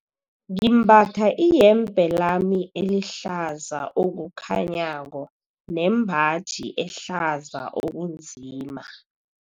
Ngimbatha iyembe lami elihlaza okukhanyako nembaji ehlaza okunzima.